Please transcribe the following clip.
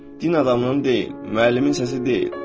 Din adamının deyil, müəllimin səsi deyil.